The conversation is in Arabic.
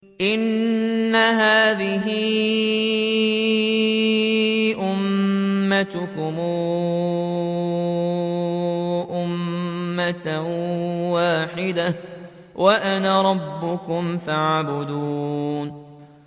إِنَّ هَٰذِهِ أُمَّتُكُمْ أُمَّةً وَاحِدَةً وَأَنَا رَبُّكُمْ فَاعْبُدُونِ